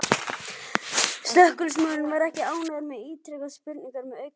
Slökkviliðsmaðurinn var ekki ánægður og ítrekaði spurninguna með aukinn áherslu.